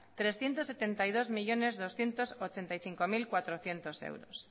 trescientos setenta y dos millónes doscientos ochenta y cinco mil cuatrocientos euros